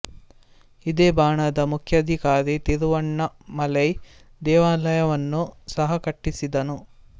ಇದೇ ಬಾಣ ನ ಮುಖ್ಯಾಧಿಕಾರಿ ತಿರುವನ್ನಾಮಲೈ ದೇವಾಲಯವನ್ನೂ ಸಹ ಕಟ್ಟಿಸಿದನು